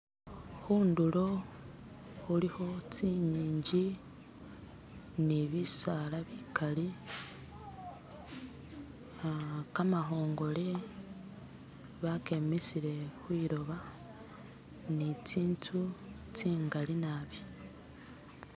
Khundulo khulikho tsingingi ne bisala bikali, ah kamakhongole bakemisile khwiloba ne tsinzu tsingali naabi.